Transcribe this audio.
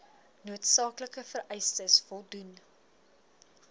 noodsaaklike vereistes voldoen